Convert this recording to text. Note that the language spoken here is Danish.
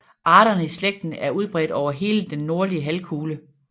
Arterne i slægten er udbredt over hele den nordlige halvkugle